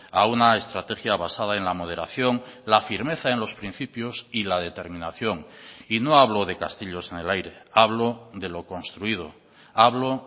a una estrategia basada en la moderación la firmeza en los principios y la determinación y no hablo de castillos en el aire hablo de lo construido hablo